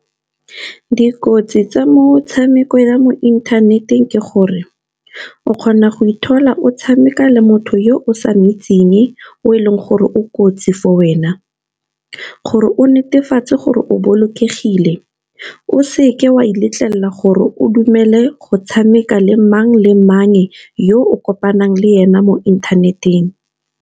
dikotsi tsa motshameko ya mo inthaneteng ke gore, o kgona go ithola o tshameka le motho yo o sa moitseng, o e leng gore o kotsi for wena. Gore o netefatse gore o bolokegile o seke wa letlelela gore o dumele go tshameka le mang le mang, yo o kopanang le ena mo inthaneteng.